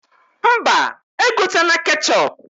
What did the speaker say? Mba, egotena ketchọp